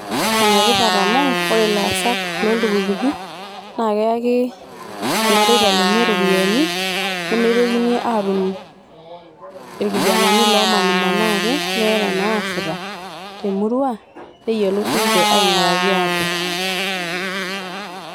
Ene tipat amu ore ilaasak loontukutuki naa keyaki irmareita leenye iropiyani nemeitokini atum irkijanani lomanimanaa ake meeta naasita te murua neyiolou sininche ainguraki ate